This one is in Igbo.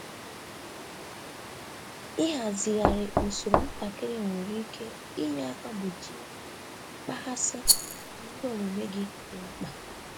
Ịhazigharị usoro m ntakịrị nwere ike inye aka gbochie mkpaghasị n'ihe omume gị dị mkpa.